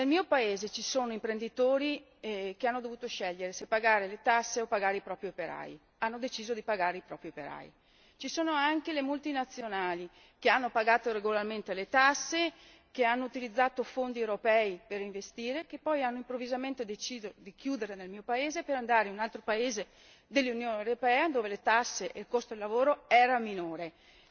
Nel mio paese ci sono imprenditori che hanno dovuto scegliere se pagare le tasse o pagare i propri operai hanno deciso di pagare i propri operai. Ci sono anche multinazionali che hanno pagato regolarmente le tasse, che hanno utilizzato fondi europei per investire e che poi hanno improvvisamente deciso di chiudere nel mio paese per trasferirsi in un altro paese dell'Unione europea, dove tasse e costo del lavoro erano inferiori.